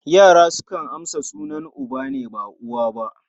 Yara sukan amsa sunan uba ne, ba uwa ba.